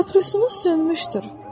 Paprosunuz sönmüşdür.